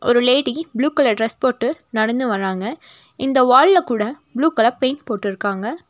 ஒரு lady blue colour dress போட்டு நடந்து வராங்க. இந்த வால்ல கூட ப்ளூ கலர் பெயிண்ட் போட்டுருக்காங்க.